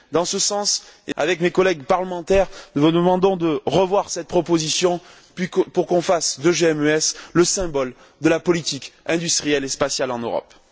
Dans ce sens, avec mes collègues parlementaires, nous vous demandons de revoir cette proposition pour qu'on fasse de GMES le symbole de la politique industrielle et spatiale en Europe.